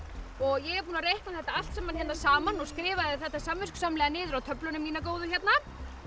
ég er búin að reikna þetta allt saman hérna saman og skrifaði þetta samviskusamlega niður á töfluna mína góðu hérna